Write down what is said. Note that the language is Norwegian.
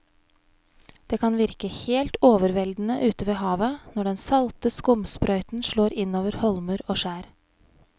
Det kan virke helt overveldende ute ved havet når den salte skumsprøyten slår innover holmer og skjær.